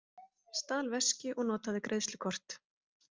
Stal veski og notaði greiðslukort